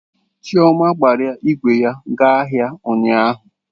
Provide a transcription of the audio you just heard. Chioma gbara ígwè ya gaa ahịa ụnyaahụ.